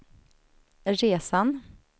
resan